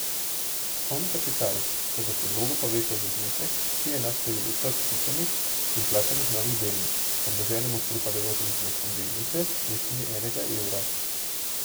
Osnovni kapital se po predlogu poveča za znesek, ki je enak številu vseh vpisanih in vplačanih novih delnic, pomnoženemu s pripadajočim zneskom delnice v višini enega evra.